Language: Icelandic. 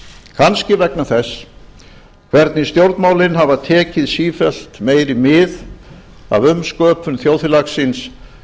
kannski vegna þess hvernig stjórnmálin hafa tekið sífellt meiri mið af umsköpun þjóðfélagsins